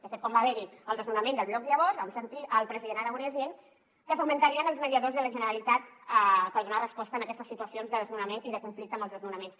de fet quan va haver hi el desnonament del bloc llavors vam sentir el president aragonès dient que s’augmentarien els mediadors de la generalitat per donar resposta en aquestes situacions de desnonament i de conflicte amb els desnonaments